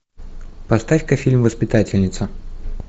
поставь ка фильм воспитательница